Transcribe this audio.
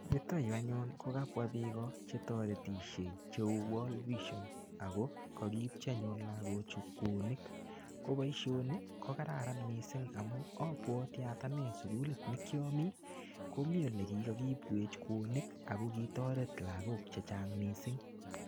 Yutoyu anyun kokabwa biiko chetoretisie cheu Wall Vision. Ako kakiipchi anyun lagochu kunik. Ko boisoni, ko kararan missing amu abwati aat ane sukulit ne kiami, komiii ole kikakiibwech kunik. Ako kitoret lagok chechang' missing.